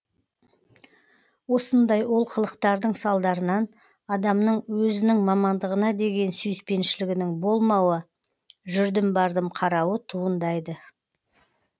осындай ол қылықтардың салдарынан адамның өзінің мамандығына деген сүйіспеншілігінің болмауы жүрдім бардым қарауы туындайды